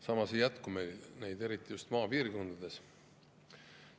Samas neid ei jätku, eriti just maapiirkondades.